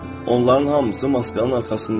onların hamısı maskanın arxasından gəlir.